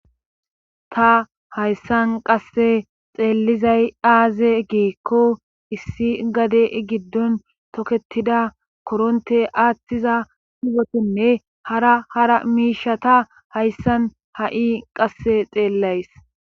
ta hayssan qasse xeellizay aaze giikko issi gade giddon toketida koronte aattiza ugetinne hara hara miisha ta hayssan ha7i qasse xeellays